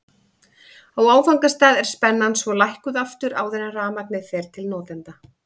Á áfangastað er spennan svo lækkuð aftur áður en rafmagnið fer til notenda.